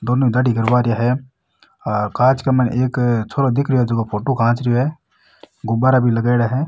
दोनो दाढ़ी करवा रेहा है कांच का में एक छोरा दिख रो है जेको फोटो खिंचरों है गुब्बारा भी लगाईडा है।